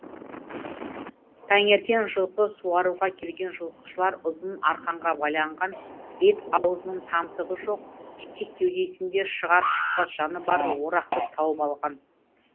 таңертең жылқы суаруға келген жылқышылар ұзын арқанға байланған бет аузының тамтығы жоқ тек кеудесінде шығар шықпас жаны бар орақты тауып алған